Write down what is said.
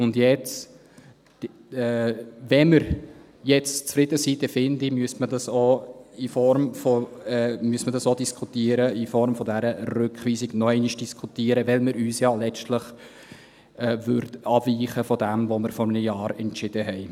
Und jetzt: Wenn wir jetzt zufrieden sind, dann finde ich, man müsste dies auch in Form dieser Rückweisung noch einmal diskutieren, weil wir letztlich ja abweichen würden von dem, was wir vor einem Jahr entschieden haben.